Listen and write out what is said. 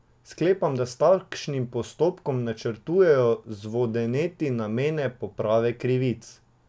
Sklepam, da s takšnim postopkom načrtujejo zvodeneti namene poprave krivic.